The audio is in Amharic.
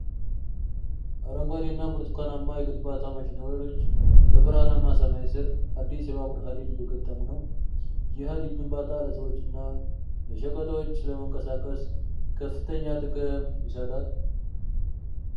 አረንጓዴ እና ብርቱካናማ የግንባታ ማሽነሪዎች በብርሃማ ሰማይ ስር፣ አዲስ የባቡር ሀዲድ እየገጠሙ ነው። ይህ የሀዲድ ግንባታ ለሰዎችና ለሸቀጦች ለመንቀሳቀስ ከፈተግኛ ጥቅም ይሰጣል።